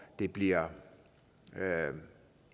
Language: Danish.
det bliver